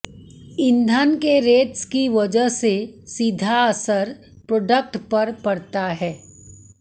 ईंधन के रेट्स की वजह से सीधा असर प्रोडक्ट पर पड़ता है